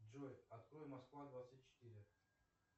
джой открой москва двадцать четыре